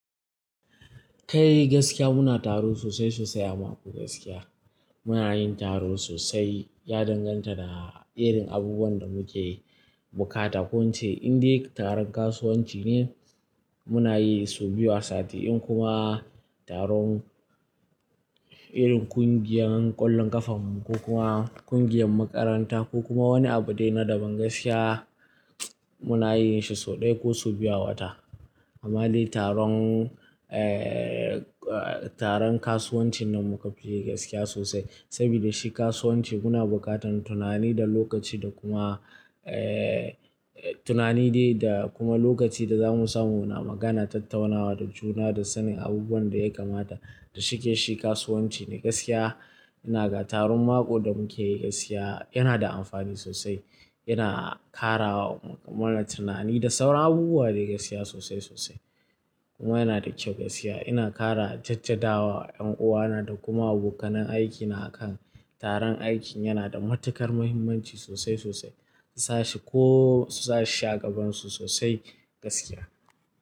Kai gaskiya muna taro sosai sosai a mako gaskiya muna yin taro sosai ya danganta da irin abubuwan da muke bukata ko ince in dai taron kasuwanci ne muna yi su biyu a sati in kuma taron irin ƙungiyar ƙwallon ƙafanmu ko kuma ƙungiyar makaranta ko kuma wani abu dai na daban gaskiya muna yin shi sau ɗaya ko sau biyu a wata. Amma dai taron, eh, taron kasuwanci nan muka fi yi gaskiya sosai saboda shi kasuwanci muna buƙatar tunani da lokaci da kuma, eh, tunani dai da kuma lokaci da zamu samu muna magana, tattaunawa da juna da sanin abubuwan da ya kamata da shike shi kasuwanci ne gaskiya. Ina ga taron mako da muke yi gaskiya yana da amfani sosai, yana ƙara mana tunani da sauran abubuwa dai gaskiya sosai sosai kuma yana da kyau gaskiya. Ina ƙara jajjadawa ƴan uwa na da kuma bukannan aiki na akan taron aiki yana da matuƙar mahimmanci sosai sosai. Ta shi ko su sa shi a gaban su sosai gaskiya.